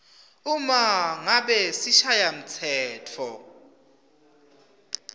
uma ngabe sishayamtsetfo